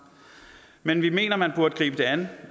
men vi mener man burde gribe det an